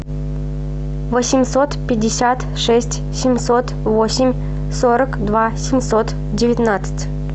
восемьсот пятьдесят шесть семьсот восемь сорок два семьсот девятнадцать